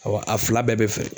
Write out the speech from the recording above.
Awɔ a fila bɛɛ be feere